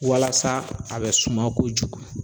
Walasa a bɛ suma kojugu